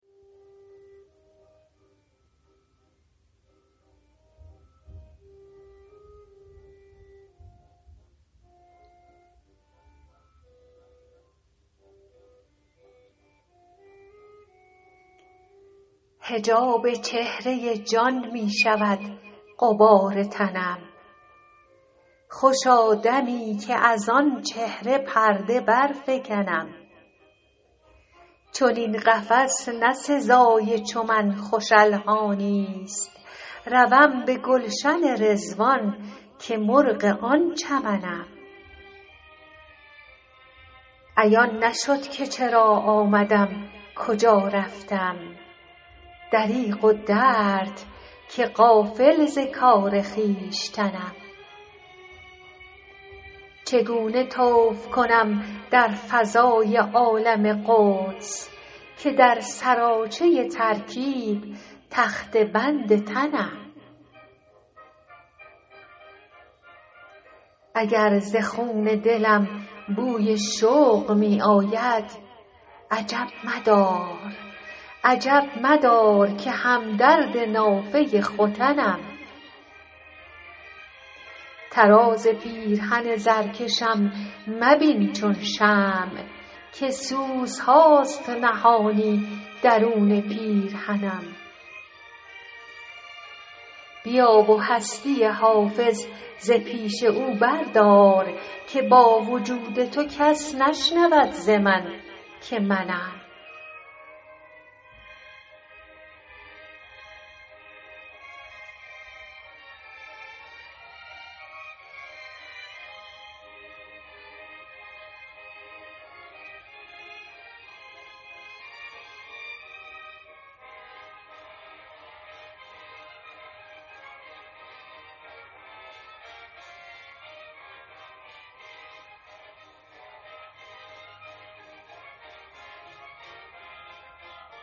حجاب چهره جان می شود غبار تنم خوشا دمی که از آن چهره پرده برفکنم چنین قفس نه سزای چو من خوش الحانی ست روم به گلشن رضوان که مرغ آن چمنم عیان نشد که چرا آمدم کجا رفتم دریغ و درد که غافل ز کار خویشتنم چگونه طوف کنم در فضای عالم قدس که در سراچه ترکیب تخته بند تنم اگر ز خون دلم بوی شوق می آید عجب مدار که هم درد نافه ختنم طراز پیرهن زرکشم مبین چون شمع که سوزهاست نهانی درون پیرهنم بیا و هستی حافظ ز پیش او بردار که با وجود تو کس نشنود ز من که منم